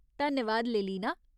धन्यवाद, लेलिना।